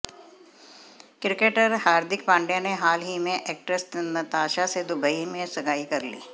cricketer Hardik Pandya ने हाल ही में एक्ट्रेस नताशा से दुबई में सगाई कर ली